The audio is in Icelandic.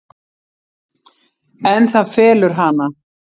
En það felur hana.